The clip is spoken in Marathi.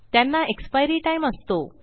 त्यांना एक्सपायरी टाइम असतो